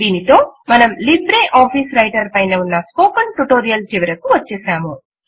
దీనితో మనము LibreOffice writer పైన ఉన్న స్పోకెన్ ట్యుటోరియల్ చివరకు వచ్చేసాము